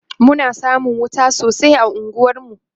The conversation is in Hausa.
Muna samun wuta sosai a unguwar mu